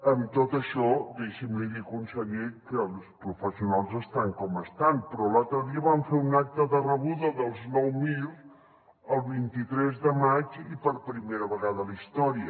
amb tot això deixi’m li dir conseller que els professionals estan com estan però l’altre dia vam fer un acte de rebuda dels nou mir el vint tres de maig i per primera vegada a la història